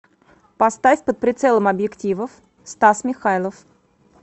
поставь под прицелом объективов стас михайлов